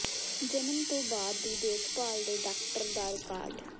ਜਨਮ ਤੋਂ ਬਾਅਦ ਦੀ ਦੇਖਭਾਲ ਦੇ ਡਾਕਟਰ ਦਾ ਰਿਕਾਰਡ